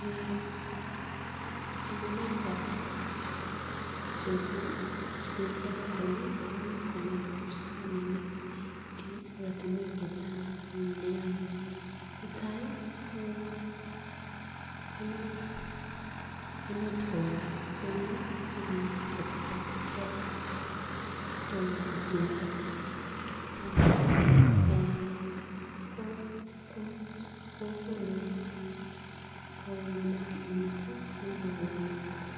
Eeh somanetab geographical komii kongem kipsomaninik en oratunwek chechang nia nitai ko emet kowalak kou may be kotesak droughts eeh floods kochanga eeh ko komuch kokonu kongemak emet tii ak kokon ko